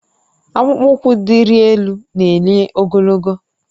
Akpụkpọ ụkwụ diri elu na-enye ogologo